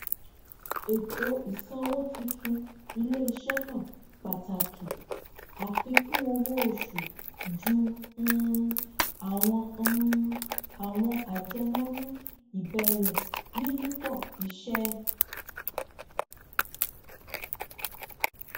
ètò ìsanwó tuntun iléiṣẹ náà pàtàkì àfíkún owó oṣù ju um àwọn um àwọn àjẹmọnú ìbẹrẹ yíyípo iṣẹ